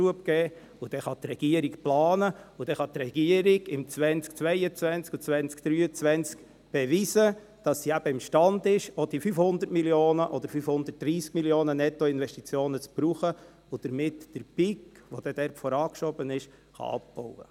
Dann kann die Regierung planen, und sie kann dann im 2022 und 2023 beweisen, dass sie im Stande ist, auch die 500 Mio. Franken oder 530 Mio. Franken Nettoinvestitionen zu gebrauchen und damit den Peak, der vorangeschoben wurde, abzubauen.